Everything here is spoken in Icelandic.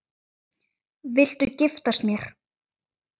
Viltu giftast mér?